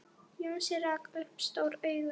Jónsi rak upp stór augu.